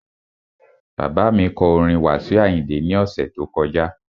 Bàbá kọ orin Wasiu Ayinde ní ọ̀sẹ̀ tó kọjá